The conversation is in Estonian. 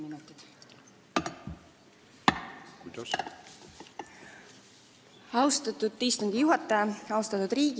Austatud istungi juhataja, ma palun kaheksa minutit!